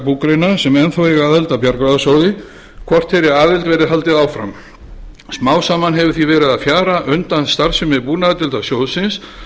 sem enn þá eiga aðild að bjargráðasjóði hvort þeirri aðild verði haldið áfram smám saman hefur því verið að fjara undan starfsemi búnaðardeildar sjóðsins